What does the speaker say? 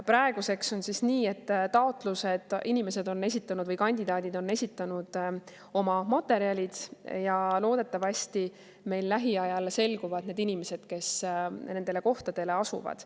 Praeguseks on nii, et inimesed või kandidaadid on esitanud oma materjalid ja loodetavasti lähiajal selguvad need inimesed, kes nendele kohtadele asuvad.